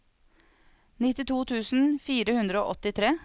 nittito tusen fire hundre og åttitre